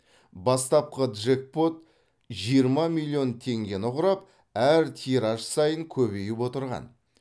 бастапқы джекпот жиырма миллион теңгені құрап әр тираж сайын көбейіп отырған